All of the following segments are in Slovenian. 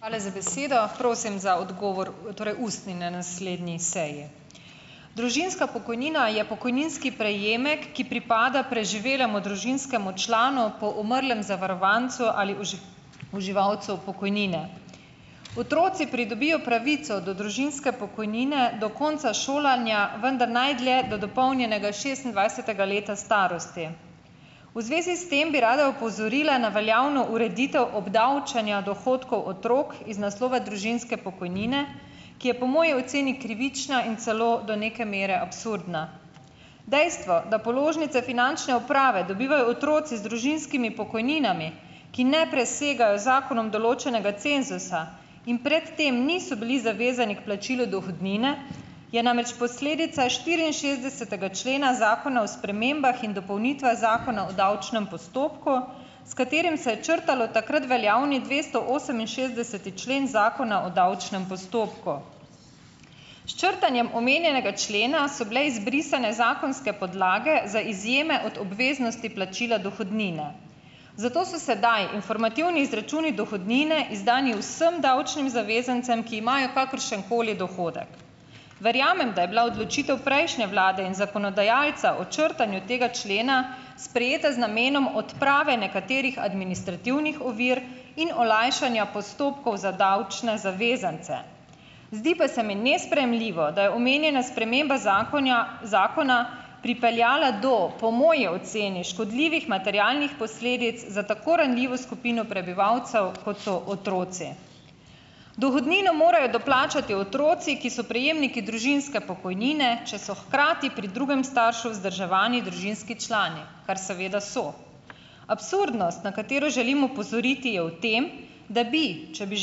Hvala za besedo. Prosim za odgovor, torej ustni, na naslednji seji. Družinska pokojnina je pokojninski prejemek, ki pripada preživelemu družinskemu članu po umrlem zavarovancu ali uživalcu pokojnine. Otroci pridobijo pravico do družinske pokojnine do konca šolanja, vendar najdlje do dopolnjenega šestindvajsetega leta starosti. V zvezi s tem bi rada opozorila na veljavno ureditev obdavčenja dohodkov otrok iz naslova družinske pokojnine, ki je po moji oceni krivična in celo do neke mere absurdna. Dejstvo, da položnice finančne uprave dobivajo otroci z družinskimi pokojninami, ki ne presegajo z zakonom določenega cenzusa in pred tem niso bili zavezani k plačilu dohodnine je namreč posledica štiriinšestdesetega člena zakona o spremembah in dopolnitvah zakona o davčnem postopku, s katerim se je črtalo takrat veljavni dvestooseminšestdeseti člen Zakona o davčnem postopku. S črtanjem omenjenega člena so bile izbrisane zakonske podlage za izjeme od obveznosti plačila dohodnine. Zato so sedaj informativni izračuni dohodnine izdani vsem davčnim zavezancem, ki imajo kakršen koli dohodek. Verjamem, da je bila odločitev prejšnje vlade in zakonodajalca o črtanju tega člena sprejeta z namenom odprave nekaterih administrativnih ovir in olajšanja postopkov za davčne zavezance. Zdi pa se mi nesprejemljivo, da je omenjena sprememba zakonja zakona pripeljala do, po moji oceni, škodljivih materialnih posledic za tako ranljivo skupino prebivalcev, kot so otroci. Dohodnino morajo doplačati otroci, ki so prejemniki družinske pokojnine, če so hkrati pri drugem staršu vzdrževani družinski člani, kar seveda so. Absurdnost, na katero želim opozoriti, je v tem, da bi, če bi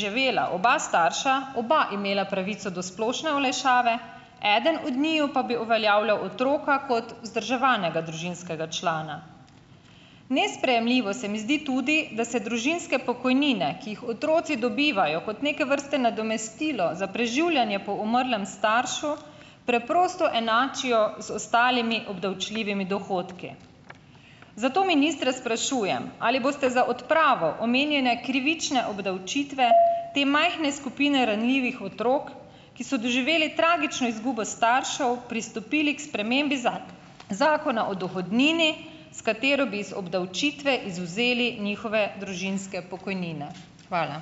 živela oba starša, oba imela pravico do splošne olajšave, eden od njiju pa bi uveljavljal otroka kot vzdrževanega družinskega člana. Nesprejemljivo se mi zdi tudi, da se družinske pokojnine, ki jih otroci dobivajo kot neke vrste nadomestilo za preživljanje po umrlem staršu, preprosto enačijo z ostalimi obdavčljivimi dohodki. Zato ministra sprašujem, ali boste za odpravo omenjene krivične obdavčitve te majhne skupine ranljivih otrok, ki so doživeli tragično izgubo staršev, pristopili k spremembi Zakona o dohodnini, s katero bi iz obdavčitve izvzeli njihove družinske pokojnine. Hvala.